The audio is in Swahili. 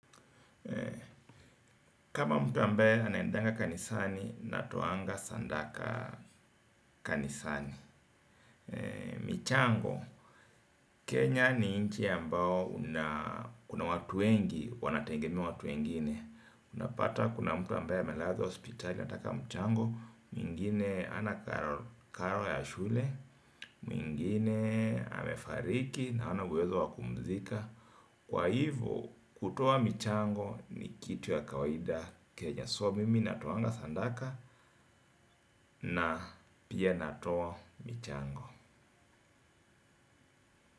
Kama mtu ambaye anaendanga kanisani, natoanga sadaka kanisani. Michango, Kenya ni nchi ambao kuna watu wengi, wanategemea watu wengine. Utapata kuna mtu ambaye amelazwa hospitali anataka mchango, mwingine hana karo ya shule, mwingine amefariki na hana uwezo wa kumzika. Kwa hivyo kutoa michango ni kitu ya kawaida Kenya so mimi natoanga sadaka na pia natoa michango.